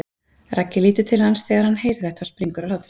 Raggi lítur til hans þegar hann heyrir þetta og springur af hlátri.